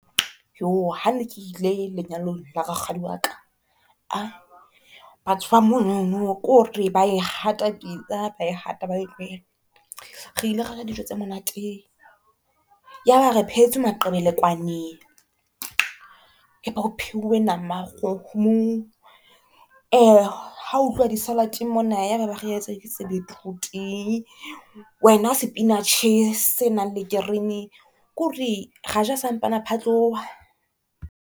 Hane ke ile lenyalong la rakgadi wa ka batho ba monono kore ba e hata pitsa ba e hata ba e tlohele. Re ile ra ja dijo tse monate ya ba re phehetswe maqebelekwane, ya ba ho phehuwe nama ya kgomo ha ho utlwa di-salad-eng mona, ya ba ba re etse ditse betrooot, wena sipenatjhe se nang le keremi kore ra ja sa mpana phatloha.